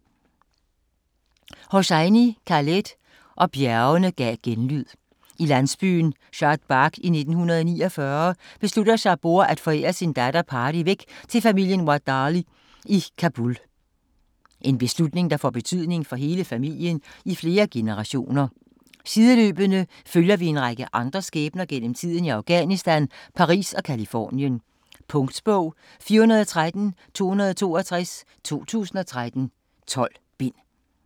Hosseini, Khaled: Og bjergene gav genlyd I landsbyen Shadbagh i 1949 beslutter Saboor at forære sin datter Pari væk til familien Wahdati i Kabul. En beslutning der får betydning for hele familien i flere generationer. Sideløbende følger vi en række andre skæbner gennem tiden i Afghanistan, Paris og Californien. Punktbog 413262 2013. 12 bind.